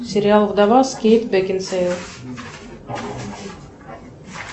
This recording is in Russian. сериал вдова с кейт бекинсейл